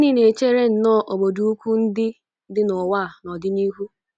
Ma gịnị na-echere nnọọ obodo ukwu ndị dị n’ụwa n’ọdịnihu?